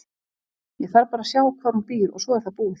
Ég þarf bara að sjá hvar hún býr og svo er það búið.